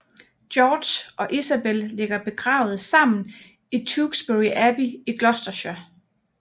Georg og Isabel ligger begravet sammen i Tewkesbury Abbey i Gloucestershire